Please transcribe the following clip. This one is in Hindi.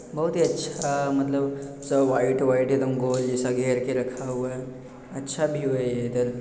बहुत ही अच्छा मतलब सब वाइट वाइट एक दम गोल जैसा घेर के रखा हुआ है अच्छा व्यू है ये इधर।